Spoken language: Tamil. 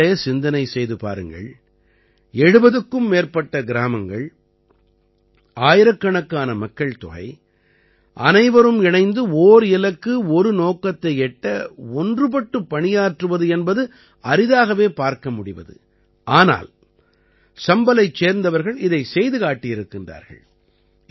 நீங்களே சிந்தனை செய்து பாருங்கள் 70க்கும் மேற்பட்ட கிராமங்கள் ஆயிரக்கணக்கான மக்கள்தொகை அனைவரும் இணைந்து ஓர் இலக்கு ஒரு நோக்கத்தை எட்ட ஒன்றுபட்டு பணியாற்றுவது என்பது அரிதாகவே பார்க்க முடிவது ஆனால் சம்பலைச் சேர்ந்தவர்கள் இதைச் செய்து காட்டியிருக்கின்றார்கள்